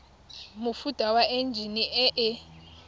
mofuta wa enjine e e